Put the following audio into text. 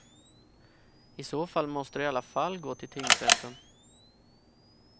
I så fall måste du i alla fall gå till tingsrätten.